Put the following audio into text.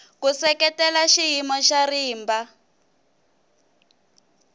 ku seketela xiyimo xa rimba